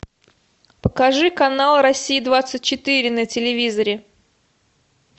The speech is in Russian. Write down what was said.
покажи канал россия двадцать четыре на телевизоре